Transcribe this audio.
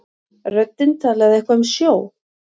Röddin talaði eitthvað um sjó.